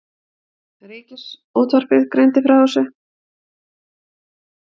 Ríkisútvarpið greindi frá þessu